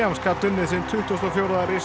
gat unnið sinn tuttugasta og fjórða